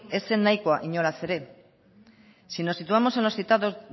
ez zen nahikoa inolaz ere si nos situamos en los citados